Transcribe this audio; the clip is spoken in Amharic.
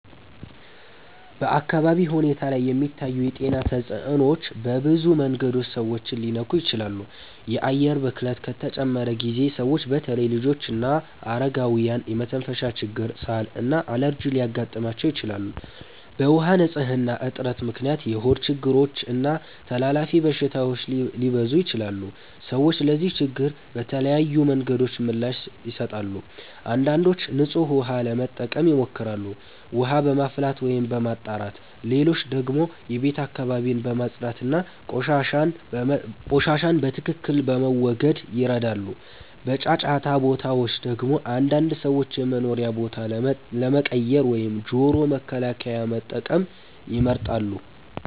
በአካባቢ ሁኔታ ላይ የሚታዩ የጤና ተጽዕኖዎች በብዙ መንገዶች ሰዎችን ሊነኩ ይችላሉ። የአየር ብክለት ከተጨመረ ጊዜ ሰዎች በተለይ ልጆችና አረጋውያን የመተንፈሻ ችግር፣ ሳል እና አለርጂ ሊያጋጥማቸው ይችላል። በውሃ ንፅህና እጥረት ምክንያት የሆድ ችግሮች እና ተላላፊ በሽታዎች ሊበዙ ይችላሉ። ሰዎች ለዚህ ችግር በተለያዩ መንገዶች ምላሽ ይሰጣሉ። አንዳንዶች ንጹህ ውሃ ለመጠቀም ይሞክራሉ፣ ውሃ በማፍላት ወይም በማጣራት። ሌሎች ደግሞ የቤት አካባቢን በማጽዳት እና ቆሻሻን በትክክል በመወገድ ይረዳሉ። በጫጫታ ቦታዎች ደግሞ አንዳንድ ሰዎች የመኖሪያ ቦታ ለመቀየር ወይም ጆሮ መከላከያ መጠቀም ይመርጣሉ።